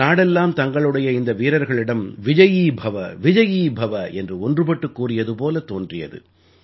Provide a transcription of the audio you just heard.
நாடெல்லாம் தங்களுடைய இந்த வீரர்களிடம் விஜயீ பவ விஜயீ பவ என்று ஒன்றுபட்டுக் கூறியது போலத் தோன்றியது